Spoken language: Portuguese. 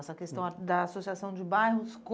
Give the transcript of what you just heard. Essa questão ah da associação de bairros com...